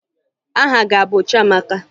Aha gị a bụ Chiamaka?